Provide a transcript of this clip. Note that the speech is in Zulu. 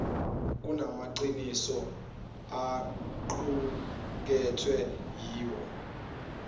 kunamaqiniso aqukethwe yiwo